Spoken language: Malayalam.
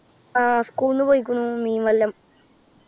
ആ school ൽ നിന്നു പോയ്കുന്നു. മീൻവല്ലം.